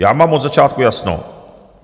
Já mám od začátku jasno.